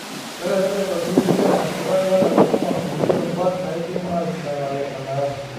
Kelelek eitobirr kulie ashetak lena kisuma nkulie rubat naaidim aishindanare enang'.